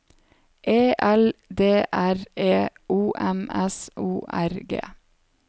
E L D R E O M S O R G